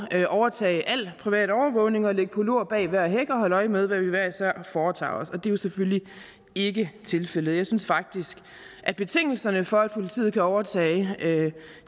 overtage al privat overvågning og ligge på lur bag hver en hæk og holde øje med hvad vi hver især foretager os men det er jo selvfølgelig ikke tilfældet jeg synes faktisk at betingelserne for at politiet kan overtage